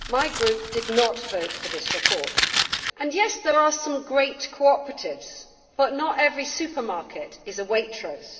Mr President, my group did not vote for this report and, yes, there are some great cooperatives but not every supermarket is a Waitrose.